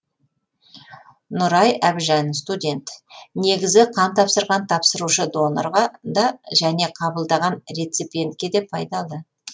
нұрай әбжан студент негізі қан тапсырған тапсырушы донорға да және қабылдаған реципиентке де пайдалы